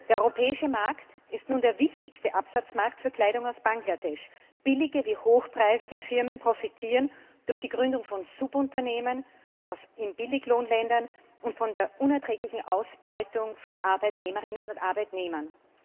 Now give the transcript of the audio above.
Der europäische Markt ist nun der wichtigste Absatzmarkt für Kleidung aus Bangladesch. Billige wie hochpreisige Firmen profitieren durch die Gründung von Subunternehmen in Billiglohnländern von der unerträglichen Ausbeutung von Arbeitnehmerinnen und Arbeitnehmern.